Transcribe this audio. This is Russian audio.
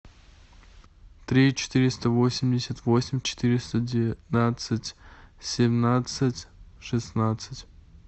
три четыреста восемьдесят восемь четыреста девятнадцать семнадцать шестнадцать